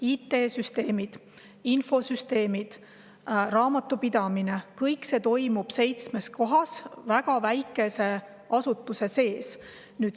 IT-süsteemid, infosüsteemid, raamatupidamine – see kõik toimub seitsmes kohas väga väikeste asutuste sees.